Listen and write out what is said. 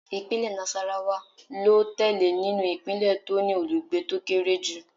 Ìpínlẹ̀ Nassarawa ló tẹ̀lé nínú ìpínlẹ̀ tó ní olùgbé tó kéré jù